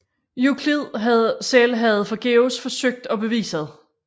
Euklid selv havde forgæves forsøgt at bevise det